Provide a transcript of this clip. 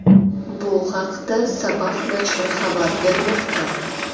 Bu haqda Sabah nashri xabar bermoqda .